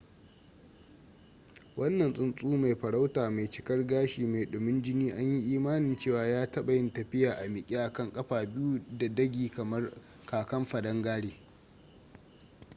wannan tsuntsu mai farauta mai cikar gashi mai dumin jini an yi imanin cewa ya taɓa yin tafiya a miƙe akan kafa biyu da dagi kamar kakan padangare